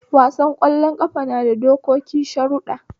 Wasan ƙwallon ƙafa nada dokoki sharuɗɗa